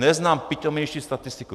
Neznám pitomější statistiku.